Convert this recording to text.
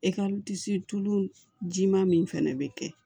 tulu ji maa min fɛnɛ be kɛ